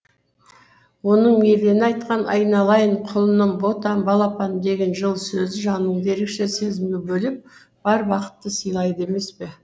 оның мейірлене айтқан айналайын құлыным ботам балапаным деген жылы сөзі жаныңды ерекше сезімге бөлеп бар бақытты сыйлайды емес пе